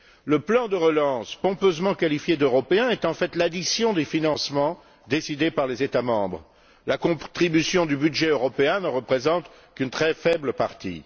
Le plan de relance, pompeusement qualifié d'européen, est en fait l'addition des financements décidés par les États membres. La contribution du budget européen n'en représente qu'une très faible partie.